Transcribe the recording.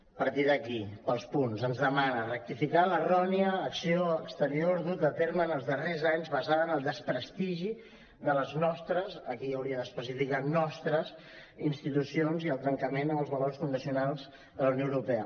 a partir d’aquí pels punts ens demana rectificar l’errònia acció exterior duta a terme en els darrers anys basada en el desprestigi de les nostres aquí hauria d’especificar nostres institucions i el trencament amb els valors fundacions de la unió europea